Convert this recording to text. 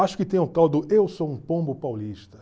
Acho que tem o tal do eu sou um pombo paulista.